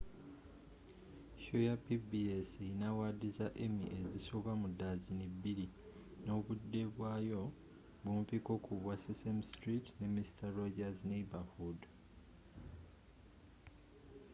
sho ya pbs erina awaadi za emmy ezisoba mu daziini bbiri nobudde bwaayo bumpiko ku bwa sesame street ne mister rogers' neighborhood